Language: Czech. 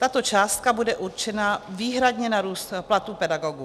Tato částka bude určena výhradně na růst platů pedagogů.